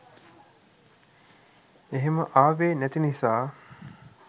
එහෙම ආවේ නැති නිසා